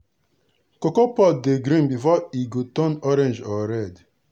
cocoa pod dey green before e go turn orange or red.